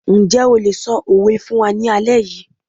Njẹ́ o lè ṣọ òwe fún wa ní alẹ́ yìí